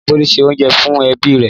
Ìyá Bólú se oúnjẹ fún ẹbí rẹ̀.